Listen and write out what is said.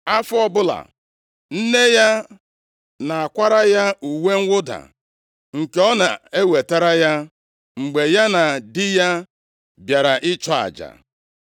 Afọ ọbụla, nne ya na-akwara ya uwe mwụda, nke ọ na-ewetara ya mgbe ya na di ya bịara ịchụ aja.